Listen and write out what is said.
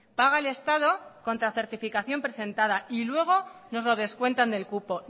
paga el estado contra certificación presentada y luego nos lo descuentan del cupo